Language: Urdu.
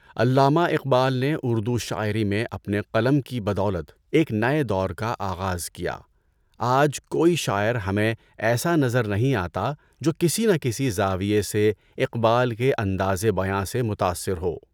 علامہ اقبال نے اردو شاعری میں اپنے قلم کی بدولت ایک نئے دور کا آغاز کیا۔ آج کوئی شاعر ہمیں ایسا نہیں نظر آتا جو کسی نہ کسی زاویے سے اقبال کے اندازِ بیاں سے متاثر ہو۔